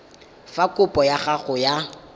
fa kopo ya gago ya